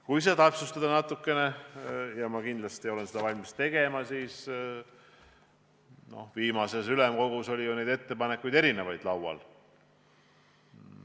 Kui seda natukene täpsustada – ja ma kindlasti olen valmis seda tegema –, siis noh, viimasel ülemkogu istungil oli neid ettepanekuid ju laual erinevaid.